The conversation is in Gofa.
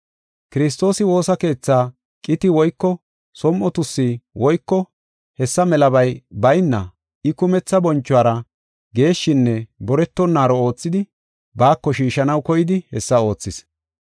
Kiristoosi woosa keethaa qiti woyko som7o tuussi woyko hessa melabay bayna I kumetha bonchuwara geeshshinne boretonaaro oothidi baako shiishanaw koyidi hessa oothis.